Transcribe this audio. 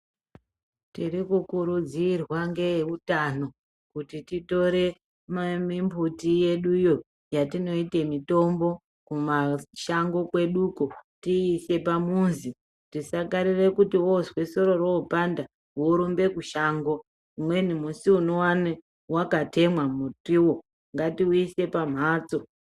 Tiri kukurudzirwa ngeeutano kuti titore mimbuti yeduyo yatinoite mitombo kumashango kweduko, tiise pamuzi. Tisakarire kuti wozwe soro ropanda , worumbe kushango. Umweni musi unowane wakatemwa mutiwo, ngatiuyise pamhatso.